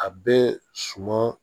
A bɛ suman